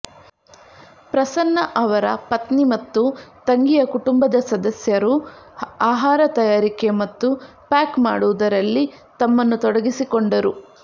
ಪ್ರಸನ್ನ ಅವರ ಪತ್ನಿ ಮತ್ತು ತಂಗಿಯ ಕುಟುಂಬದ ಸದಸ್ಯರು ಆಹಾರ ತಯಾರಿಕೆ ಮತ್ತು ಪ್ಯಾಕ್ ಮಾಡುವುದರಲ್ಲಿ ತಮ್ಮನ್ನು ತೊಡಗಿಸಿಕೊಂಡರು